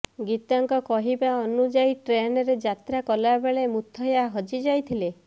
ଗୀତାଙ୍କ କହିବା ଅନୁଯାୟୀ ଟ୍ରେନ୍ରେ ଯାତ୍ରା କଲାବେଳେ ମୁଥୟା ହଜିଯାଇଥିଲେ